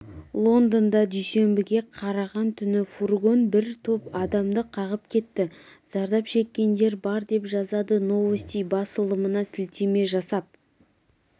лондонда дүйсенбіге қараған түні фургон бір топ адамды қағып кетті зардап шеккендер бар деп жазады новости басылымына сілтеме жасап